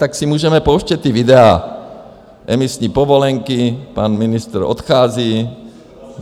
Tak si můžeme pouštět ta videa, emisní povolenky - pan ministr odchází.